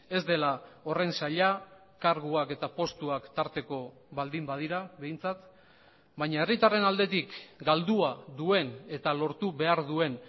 ez dela horren zaila karguak eta postuak tarteko baldin badira behintzat baina herritarren aldetik galdua duen eta lortu behar duen